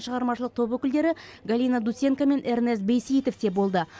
шығармашылық топ өкілдері галина дусенко мен эрнест бейсейітов те болды